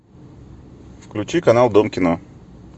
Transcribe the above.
включи канал дом кино